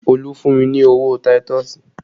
Olu fún mi ní owó táítọ̀sì